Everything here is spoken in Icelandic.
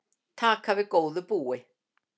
Taka við góðu búi